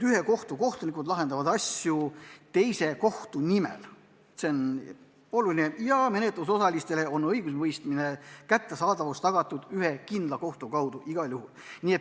Ühe kohtu kohtunikud lahendavad asju teise kohtu nimel ja menetlusosalistele on õigusemõistmise kättesaadavus tagatud ühe kindla kohtu kaudu igal juhul.